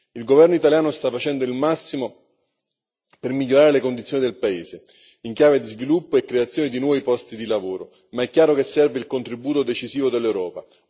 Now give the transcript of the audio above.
Il governo italiano sta facendo il massimo per migliorare le condizioni del paese in chiave di sviluppo e creazione di nuovi posti di lavoro, ma è chiaro che serve il contributo decisivo dell'Europa.